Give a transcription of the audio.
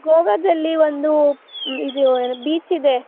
ಗೋವಾದಲ್ಲಿ ಒಂದು beach ಇದೆ .